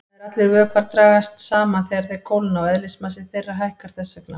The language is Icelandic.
Nær allir vökvar dragast saman þegar þeir kólna og eðlismassi þeirra hækkar þess vegna.